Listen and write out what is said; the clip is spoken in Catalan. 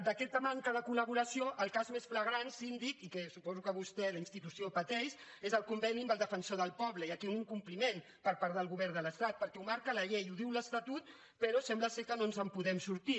d’aquesta manca de col·laboració el cas més flagrant síndic i suposo que vostè la institució pateix és el conveni amb el defensor del poble i aquí hi ha un incompliment per part del govern de l’estat perquè ho marca la llei i ho diu l’estatut però sembla que no ens podem sortir